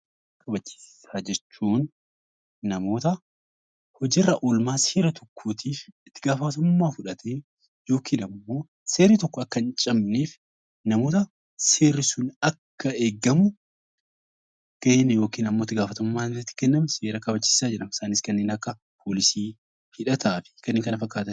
Seera kabachiisaa jechuun namoota hojii irra oolmaa seera tokkootiif itti gaafatamummaa fudhatee yookaan immoo seerri sun akka hin cabne, seerri sun akka eegamu itti gaafatamummaan itti kenname seera kabachiisaa jedhamu . Isaanis kanneen akka poolisii, hidhataa fi kanneen kana fakkaatan.